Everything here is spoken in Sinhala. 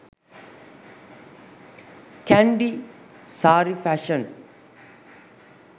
kandy saree fashion